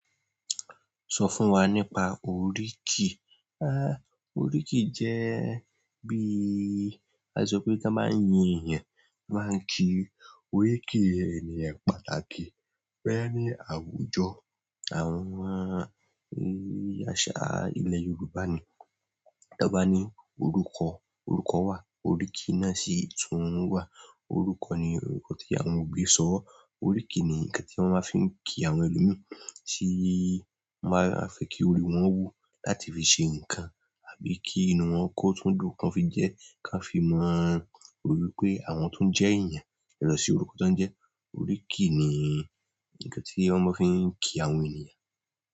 Sọ fún wa nípa oríkì. Há! Oríkì jẹ́ bí a ṣe sọ pé kí a máa yin èèyàn, máa ń kí oríkì ènìyàn pàtàkì pẹ́ ní àwùjọ. Àwọn yàrá àṣà ilẹ̀ Yorùbá ni. Tí wọ́n bá ní orúkọ, orúkọ wà, oríkì náà sì tún wà. Orúkọ ni orúkọ tí àwọn òbí sọ wá. Oríkì ni ǹkan tí wọ́n máa fí ń kí àwọn ẹlòmíràn, tí wọ́n bá fẹ́ kí orí wọn wú láti fi ṣe nǹkan àbí kí inú wọn kó túndùn kan fi jẹ́ kí a fi mọ torí pé àwọn tó ń jẹ́ èèyàn, lọ sí orúkọ tó ń jẹ́. Oríkì ni ǹkan tí wọ́n máa fí ń kí àwọn ènìyàn.